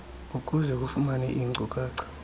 ukuze ufumane iinkcukacha